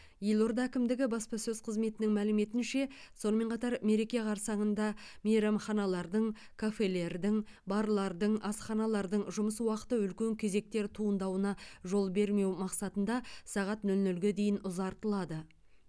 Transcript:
елорда әкімдігі баспасөз қызметінің мәліметінше сонымен қатар мереке қарсаңында мейрамханалардың кафелердің барлардың асханалардың жұмыс уақыты үлкен кезектер туындауына жол бермеу мақсатында сағат нөл нөлге дейін ұзартылады